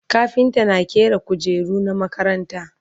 kafinta na ƙera kujeru na makaranta